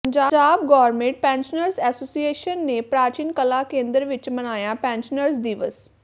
Punjab government pensioners association ਨੇ ਪ੍ਰਾਚੀਨ ਕਲਾ ਕੇਂਦਰ ਵਿੱਚ ਮਨਾਇਆ ਪੈਨਸ਼ਨਰਜ਼ ਦਿਵਸ